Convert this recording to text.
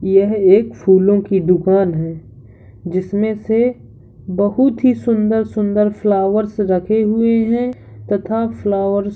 यह एक फूलों की दुकान है जिसमें से बहुत ही सुन्दर सुन्दर फ्लॉवर्स रखे हुए हैं तथा फ्लावर्स --